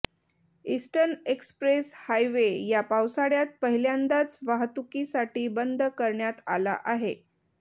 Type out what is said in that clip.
eastern express highway या पावसाळ्यात पहिल्यांदाच वाहतुकीसाठी बंद करण्यात आला आहे